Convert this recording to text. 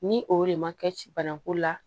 Ni o de ma kɛ ci bana ko la